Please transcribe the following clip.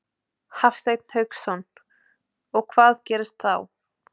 Hafsteinn Hauksson: Og hvað gerist þá?